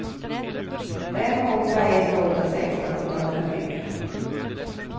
fem åtta ett åtta sexton åttahundrafyra